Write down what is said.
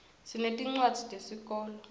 sinetincwadzi tesikolo